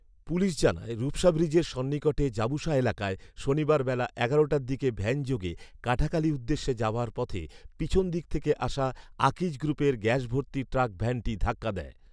police জানায়, রূপসা ব্রীজের সন্নিকটে জাবুসা এলাকায় শনিবার বেলা এগারো টার দিকে ভ‍্যানযোগে কাটাখালী উদ্দেেশ্যে যাবার পথে পিছন দিক থেকে আসা আকিজ গ্রুপের গ‍্যাস ভর্তি ট্রাক ভ‍্যানটি ধাক্কা দেয়